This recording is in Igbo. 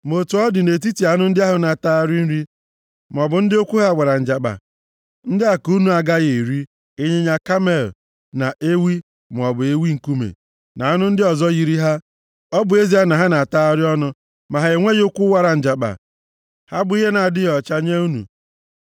Ma otu ọ dị, nʼetiti anụ ndị ahụ na-atagharị nri maọbụ ndị ụkwụ ha wara njakpa, ndị a ka unu na-agaghị eri, ịnyịnya kamel, na ewi maọbụ ewi nkume, na anụ ndị ọzọ yiri ha, ọ bụ ezie na ha na-atagharị ọnụ, ma ha enweghị ụkwụ wara njakpa. Ha bụ ihe na-adịghị ọcha nye unu.